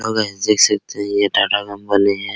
और गायज देख सकते है ये टाटा कंपनी है।